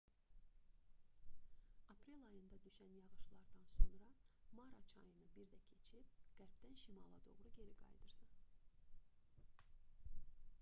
aprel ayında düşən yağışlardan sonra mara çayını bir də keçib qərbdən şimala doğru geri qayıdırsan